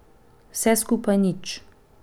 Vse skupaj nič.